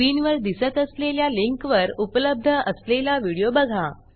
स्क्रीनवर दिसत असलेल्या लिंकवर उपलब्ध असलेला व्हिडिओ बघा